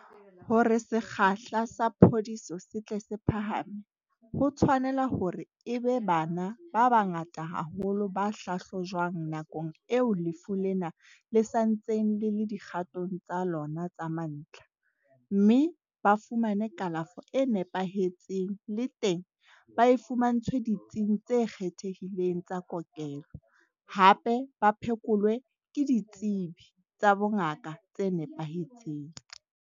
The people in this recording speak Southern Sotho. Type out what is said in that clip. Hore sekgahla sa phodiso se tle se phahame, ho tshwa nela hore e be bana ba bangata haholo ba hlahlojwang nakong eo lefu lena le santseng le le dikgatong tsa lona tsa mantlha, mme ba fumane kalafo e nepahetseng le teng ba e fumantshwe ditsing tse kgethehileng tsa kokelo, hape ba phekolwe ke ditsebi tsa bongaka tse nepahetseng.